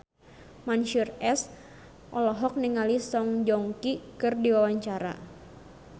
Mansyur S olohok ningali Song Joong Ki keur diwawancara